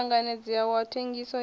u tanganedzeaho wa thengiso ya